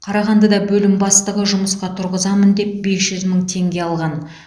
қарағандыда бөлім бастығы жұмысқа тұрғызамын деп бес жүз мың теңге алған